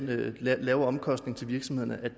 de lave omkostninger for virksomhederne